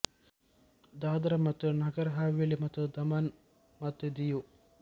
ದಾದ್ರಾ ಮತ್ತು ನಗರ್ ಹವೇಲಿ ಮತ್ತು ದಮನ್ ಮತ್ತು ದಿಯು